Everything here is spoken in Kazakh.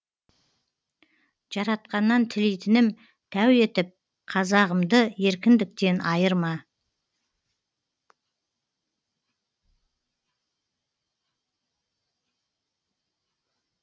жаратқаннан тілейтінім тәу етіп қазағымды еркіндіктен айырма